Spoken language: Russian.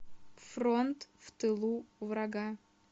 фронт в тылу врага